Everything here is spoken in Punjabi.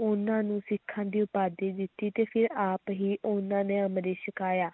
ਉਨ੍ਹਾਂ ਨੂੰ ਸਿੱਖਾਂ ਦੀ ਉਪਾਧੀ ਦਿੱਤੀ ਤੇ ਫਿਰ ਆਪ ਹੀ ਉਨ੍ਹਾਂ ਨੇ ਅੰਮ੍ਰਿਤ ਛਕਾਇਆ